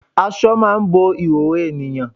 Aṣọ máà ń bo ìhòòhò ènìyàn.